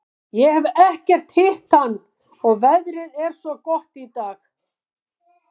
Ég hef ekkert hitt hann og veðrið er svo gott í dag.